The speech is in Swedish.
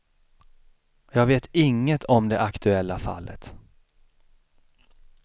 Jag vet inget om det aktuella fallet.